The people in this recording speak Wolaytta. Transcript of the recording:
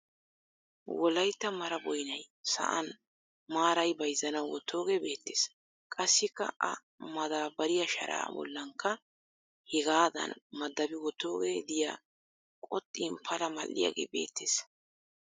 Wolayitta mara boyinay sa'an maarayi bayizzanawu wottooge beettes. Qassikka a madaabbariya sharaa bollankka hegaadan madabi wottoogee diya qoxxin pala mal'iyagee beettes.